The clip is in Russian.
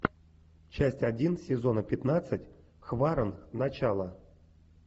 часть один сезона пятнадцать хваран начало